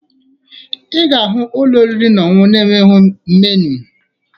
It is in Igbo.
Ị ga-ahụ ụlọ oriri na ọṅụṅụ na-enweghi meniu